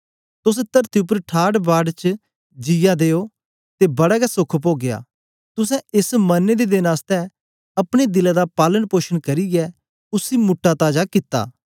तोस तरती उपर ठाठवाठ च जियां दे ओ ते बड़ा गै सोख पोगया तुसें एस मरने दे देन आसतै अपने दिले दा पालन पोषण करियै उसी मुटा ताजा कित्ता